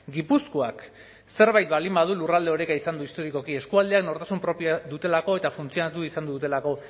gipuzkoak zerbait baldin badu lurralde oreka izan du historikoki eskualdean nortasun propioa dutelako eta funtzionatu izan dutelako